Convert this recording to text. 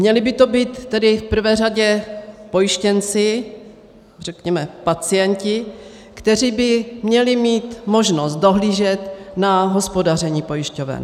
Měli by to být tedy v prvé řadě pojištěnci, řekněme pacienti, kteří by měli mít možnost dohlížet na hospodaření pojišťoven.